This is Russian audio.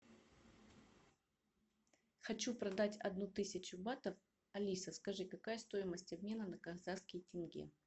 хочу продать одну тысячу батов алиса скажи какая стоимость обмена на казахский тенге